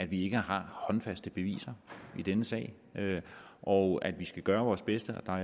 at vi ikke har håndfaste beviser i denne sag og at vi skal gøre vores bedste og